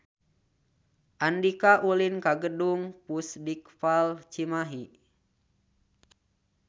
Andika ulin ka Gedung Pusdikpal Cimahi